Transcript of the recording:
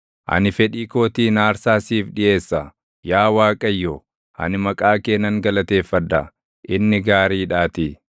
Ani fedhii kootiin aarsaa siif dhiʼeessa; yaa Waaqayyo, ani maqaa kee nan galateeffadha; inni gaariidhaatii.